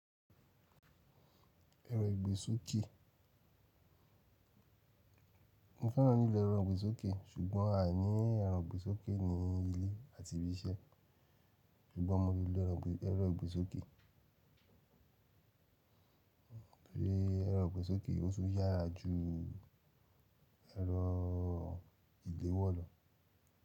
Ẹ̀rọ ìgbésókè. Mo fẹ́ràn lílọ ẹ̀rọ ìgbésókè ṣùgbọ́n a ní ẹ̀rọ ìgbésókè ní ilé àti ibi iṣẹ́ ṣùgbọ́n mo lè lo ẹ̀rọ ìgbésókè. Bí i ẹ̀rọ ìgbésókè ó ṣe yára ju ẹ̀rọ ìléwọ́ lọ.